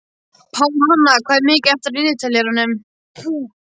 Pálhanna, hvað er mikið eftir af niðurteljaranum?